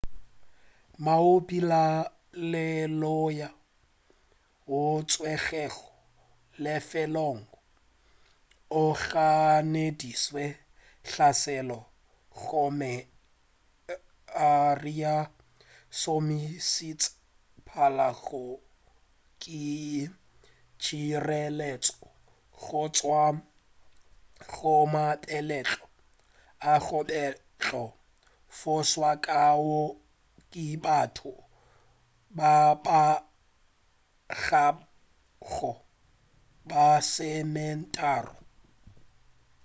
moabi wa lenaneo woo a tswerwego lefelong o ganeditše hlaselo gomme a re o šomišitše pala go ke tšhireletša go tšwa go mabetlelo ao a bego a fošwa ka wo ke batho ba kabago ba lesometharo